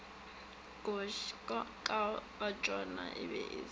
katšona e be e se